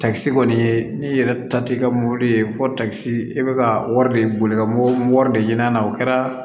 Takisi kɔni ye n'i yɛrɛ ta t'i ka mobili ye fɔ takisi i bɛ ka wari de boli ka mori de ɲini a la o kɛra